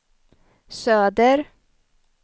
söder